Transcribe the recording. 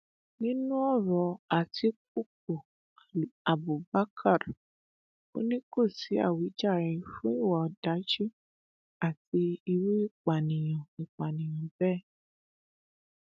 nínú ọrọ àtikukú abubakar ò ní kó sí àwíjàre fún ìwà ọdájú àti irú ìpànìyàn ìpànìyàn bẹẹ